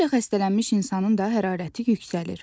Qriplə xəstələnmiş insanın da hərarəti yüksəlir.